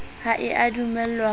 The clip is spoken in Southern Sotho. ha e a dumellwa ho